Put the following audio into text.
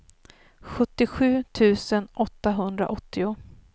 sjuttiosju tusen åttahundraåttio